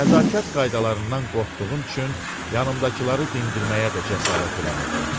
Nəzakət qaydalarından qorxduğum üçün yanımdakıları dindirməyə də cəsarət eləmirdim.